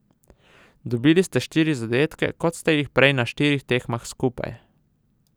Dobili ste štiri zadetke, kot ste jih prej na štirih tekmah skupaj ...